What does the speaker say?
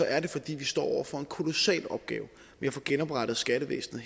er det fordi vi står over for en kolossal opgave med at få genoprettet skattevæsenet